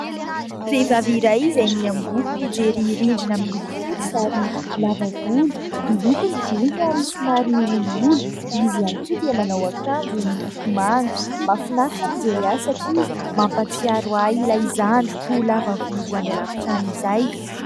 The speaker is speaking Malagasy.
Vehivavy iray izay miamboho mijery rindrina miloko fotsy ary lava volo, miloko ny volony ary somary olioly, izy ihany koa dia manao akanjo miloko manga. Mahafinaritra ny mijery azy satria mampahatsiaro ahy ilay zandriko lava volo any alavitra any izay.